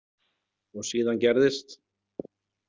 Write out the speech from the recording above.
Og síðan gerðist.